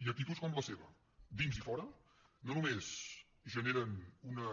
i actituds com la seva a dins i a fora no només generen una